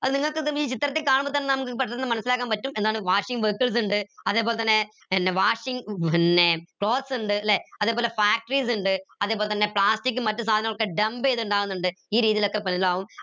അത് നിങ്ങൾക്ക് ഈ ചിത്രത്തി കാണുമ്പോ തന്നെ നമുക്ക് പെട്ടെന്ന് മനസ്സിലാക്കാൻ പറ്റും എന്താണ് washing vessels ഇണ്ട് അതേപോലെതന്നെ പിന്നെ washing ഏർ പിന്നെ clothes ഇണ്ട് ല്ലെ അതേപോലെ factories ഇണ്ട് അതേപോലെതന്ന plastic ഉം മറ്റു സാധനങ്ങളൊക്കെ dump എയ്ത് ഇണ്ടാവിന്നിണ്ട് ഈ രീതിയിലൊക്കെ എന്താവും